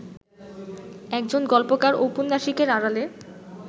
একজন গল্পকার-ঔপন্যাসিকের আড়ালে